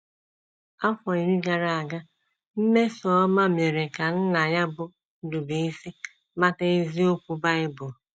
Afọ iri gara aga, Mmesommamere ka nna ya bụ́ Ndubuisi mata eziokwu Bible.